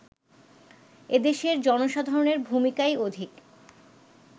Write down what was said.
এদেশের জনসাধারণের ভূমিকাই অধিক